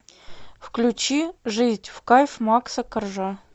включи жить в кайф макса коржа